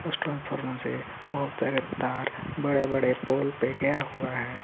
उस ट्रांसफार्मर से बहुत सारे तार बड़े बड़े पोल पे गया हुआ है.